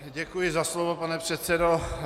Děkuji za slovo, pane předsedo.